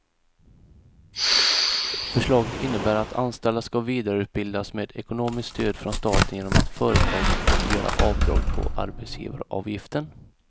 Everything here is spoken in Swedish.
Förslaget innebär att anställda ska vidareutbildas med ekonomiskt stöd från staten genom att företagen får göra avdrag på arbetsgivaravgiften.